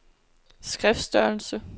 skriftstørrelse